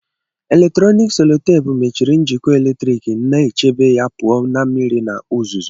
Eletrọnịkị sellotape mechiri njikọ eletrik, na-echebe ya pụọ ​​​​na mmiri na uzuzu.